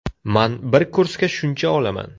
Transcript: Man bir kursga shuncha olaman.